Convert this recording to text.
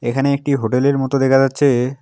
এখানে একটি হোটেলের মতো দেখা যাচ্ছে।